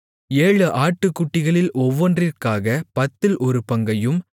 ஏழு ஆட்டுக்குட்டிகளில் ஒவ்வொன்றிற்காகப் பத்தில் ஒரு பங்கையும்